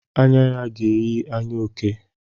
Anya ya ga-eyi anya oke.